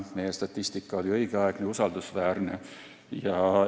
Meie statistika oli õigeaegne ja usaldusväärne.